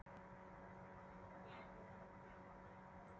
Svo geta hlutirnir breyst mjög hratt.